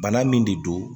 Bana min de don